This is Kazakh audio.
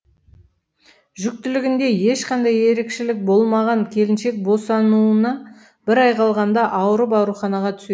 жүктілігінде ешқандай ерекшелік болмаған келіншек босануына бір ай қалғанда ауырып ауруханаға түсед